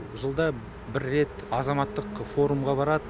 жылда бір рет азаматтық форумға барады